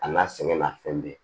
A n'a sɛgɛn na fɛn bɛɛ